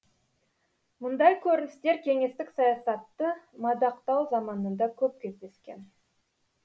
мұндай көріністер кеңестік саясатты мадақтау заманында көп кездескен